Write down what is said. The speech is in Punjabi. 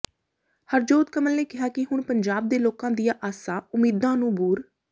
ਹਰਜੋਤ ਕਮਲ ਨੇ ਕਿਹਾ ਕਿ ਹੁਣ ਪੰਜਾਬ ਦੇ ਲੋਕਾਂ ਦੀਆਾ ਆਸਾ ਉਮੀਦਾਂ ਨੂੰ ਬੂਰ